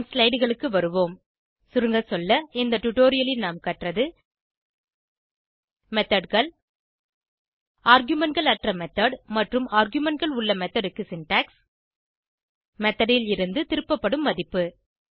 நம் slideகளுக்கு வருவோம் சுருங்க சொல்ல இந்த டுடோரியலில் நாம் கற்றது Methodகள் argumentகள் அற்ற மெத்தோட் மற்றும் argumentகள் உள்ள மெத்தோட் க்கு சின்டாக்ஸ் மெத்தோட் லிருந்து திருப்பப்படும் மதிப்பு